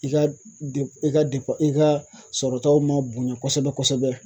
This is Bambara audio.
I ka de i ka de i ka sɔrɔtaw man bonya kosɛbɛ kosɛbɛ.